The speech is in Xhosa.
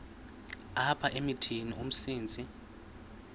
apha emithini umsintsi